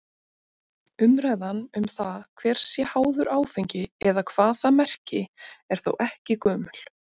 Umræðan um það hver sé háður áfengi eða hvað það merki er þó ekki gömul.